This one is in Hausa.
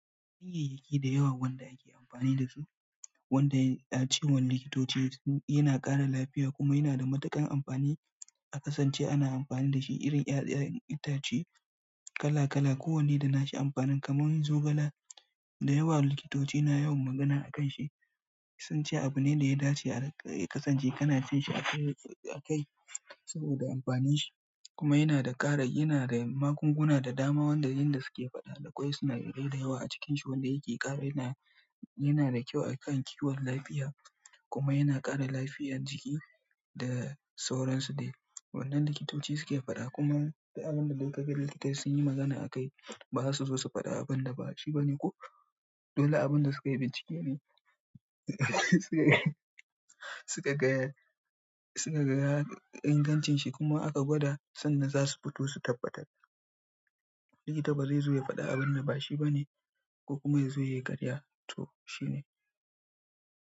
Ganyayyaki da yawa wanda ake amfani da su, wanda a cewar likitoci yana ƙara lafiya kuma yana da matuƙar amfani. A kasance ana amfani da shi irin 'ya'yan itace kala kala, kowanne da na shi amfanin. Kaman zogala, da yawa likitoci na yawan magana a kan shi, sunce abune ɗaya dace a rinƙa ya kasance kana cin shi akai saboda amfanin shi. Kuma yana da ƙara, yana da magunguna da dama wanda inda suke faɗa da kwai sunadarai da yawa a cikin shi wanda yake ƙara yana, yana da kyau a kan kiwon lafiya kuma yana ƙara lafiyar jiki da sauransu dai. Wannan likitoci suke faɗa kuma duk abunda dai kaga likita sun yi magana akai ba za su zo su faɗa abunda bashi bane ko? Dole abunda sukayi bincike ne sukaga, suka gaya ingancin shi kuma aka gwada sanda zasu fito su tabbatar. Likita baze zo ya faɗa abunda bashi bane ko kuma ya zo yayi ƙarya to shi ne.